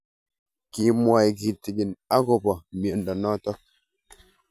Kimwae kitig'in akopo miondo notok